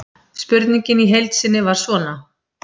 Spurningin í heild sinni var svona: